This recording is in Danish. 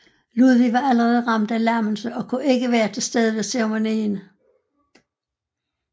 Ludvig var allerede ramt af lammelse og kunne ikke være til stede ved ceremonien